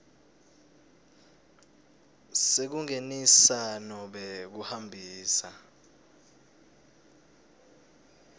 sekungenisa nobe kuhambisa